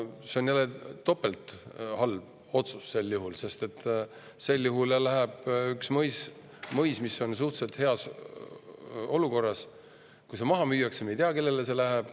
See on siis juba topelthalb otsus, sest me ei tea, kelle kätte see mõis, mis on suhteliselt heas olukorras, läheb, kui see maha müüakse.